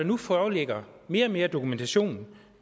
nu foreligger mere og mere dokumentation